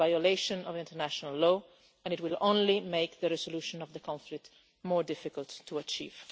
It is a violation of international law and it will only make the resolution of the conflict more difficult to achieve.